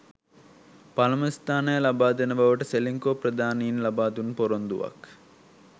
පළමු ස්ථානය ලබාදෙන බවට සෙලින්කෝ ප්‍රධානීන් ලබාදුන් පොරොන්දුවක්